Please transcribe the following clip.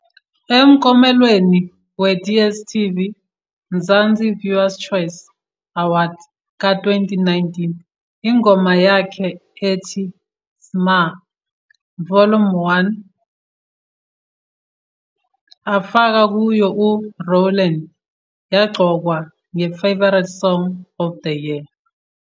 Emkomelweni we-Dstv Mzansi Viewers Choice Awards ka-2019 ingoma yakhe ethi "SMA, Vol. 1" afaka kuyo u-Rowlene yaqokwa ngeFavourite Song Of the Year.